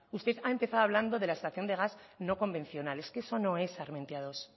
usted ha empezado hablando de la extracción de gas no convencional es que eso no es armentiamenos dos